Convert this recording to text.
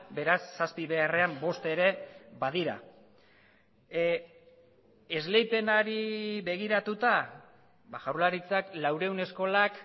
beraz zazpi beharrean bost ere badira esleipenari begiratuta jaurlaritzak laurehun eskolak